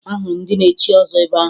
Ahụrụ m ndị a na-echi ọzọ ebe ahụ